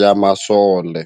ya masole.